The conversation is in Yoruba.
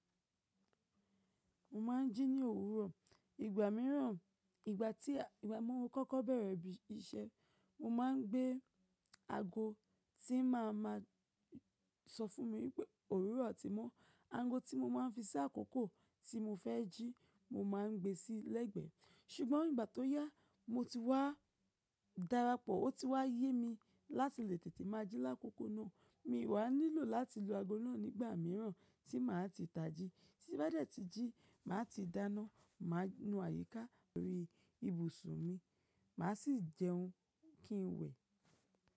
Mo ma n jí ní òwúrọ̀. Ìgbà mìíràn, ìgbà tí a igba mo kọ́kọ́ bẹ̀rẹ̀ ibi iṣẹ́, mo ma n gbé ago tí màá ma sọ fún mi wípé òwúrọ̀ ti mọ́. Ago tí mo ma n fi sí àkókò tí mo fẹ́ jí, mo ma n gbé sílẹ̀ gbẹ. Ṣùgbọ́n ìgbà tó yá, mo ti wá darapọ̀, ó ti wá yé mi láti lè tètè máa jí lákòókò náà. Mi ò wa nílò láti lo ago náà nígbà mìíràn tí màá ti tà jí. Tí bá dẹ̀ tí jí, màá ti dáná, màá nu àyíká lórí ibùsùn mi, màá sì jẹun kí n wẹ̀.